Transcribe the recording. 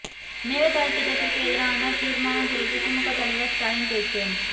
மேகதாது திட்டத்திற்கு எதிரான தீர்மானம் குறித்து திமுக தலைவர் ஸ்டாலின் பேச்சு